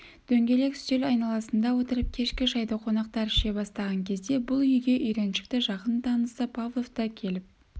дөңгелек үстел айналасында отырып кешкі шайды қонақтар іше бастаған кезде бұл үйге үйреншікті жақын танысы павлов та келіп